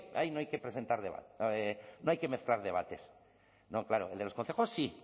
ahí no hay que mezclar debates no claro el de los concejos sí